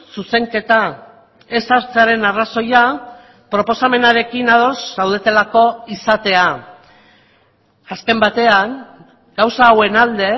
zuzenketa ez sartzearen arrazoia proposamenarekin ados zaudetelako izatea azken batean gauza hauen alde